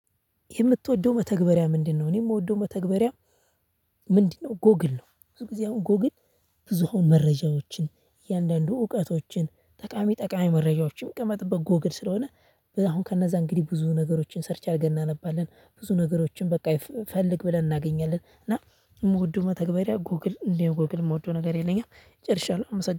የምትወደው መተግበሪያ ምንድነው? እኔ የምወደው መተግበሪያ ምንድነው ጎግል ነው። ብዙ ጊዜ አሁን ጎግል ብዙ አሁን መረጃዎችን እያንዳንዱ እውቀቶችን ጠቃሚ ጠቃሚ መረጃዎችን የሚቀመጥበት ጎግል ስለሆነ። አሁን ከነዛ እንግዲህ ብዙ ነገሮችን ሰርች አድርገን እናነባለን ብዙ ነገሮችን በቃ ፈልግ ብለን እናገኛለን። እና የምወደው መተግበሪያ ጎግል እንደ ጎግል የምወደው ነገር የለኝም ጨርሻለሁ አመስግናለሁ